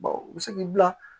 u bɛ se k'i bila